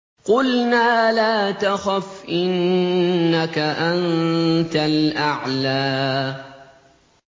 قُلْنَا لَا تَخَفْ إِنَّكَ أَنتَ الْأَعْلَىٰ